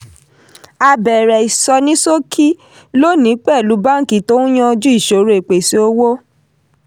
a bẹ̀rẹ̀ ìsọnísókí lónìí pẹ̀lú báńkì tó yanjú ìṣòro ìpèsè owó.